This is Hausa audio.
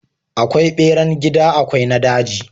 Akwai beran gida akwai na daji.